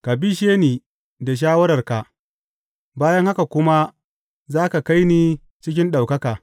Ka bishe ni da shawararka, bayan haka kuma za ka kai ni cikin ɗaukaka.